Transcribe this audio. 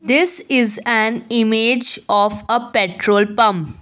this is an image of a petrol pump.